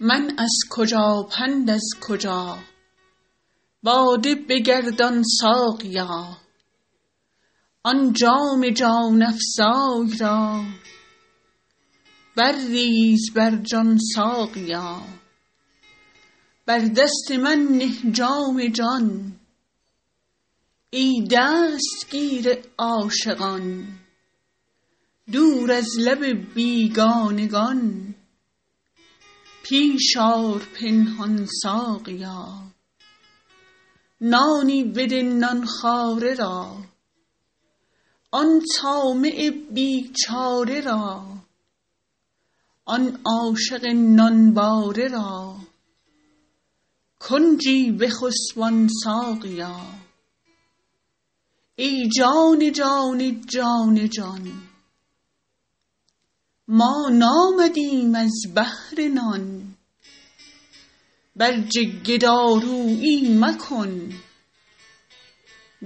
من از کجا پند از کجا باده بگردان ساقیا آن جام جان افزای را برریز بر جان ساقیا بر دست من نه جام جان ای دستگیر عاشقان دور از لب بیگانگان پیش آر پنهان ساقیا نانی بده نان خواره را آن طامع بیچاره را آن عاشق نانباره را کنجی بخسبان ساقیا ای جان جان جان جان ما نامدیم از بهر نان برجه گدارویی مکن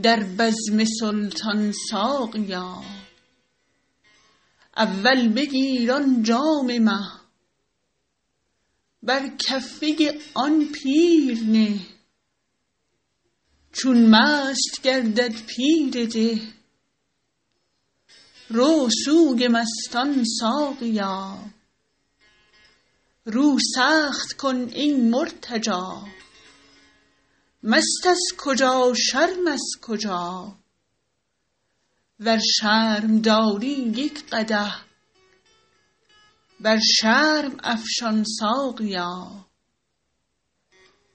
در بزم سلطان ساقیا اول بگیر آن جام مه بر کفه آن پیر نه چون مست گردد پیر ده رو سوی مستان ساقیا رو سخت کن ای مرتجا مست از کجا شرم از کجا ور شرم داری یک قدح بر شرم افشان ساقیا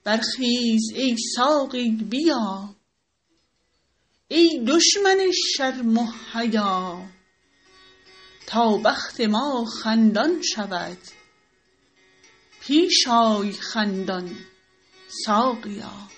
برخیز ای ساقی بیا ای دشمن شرم و حیا تا بخت ما خندان شود پیش آی خندان ساقیا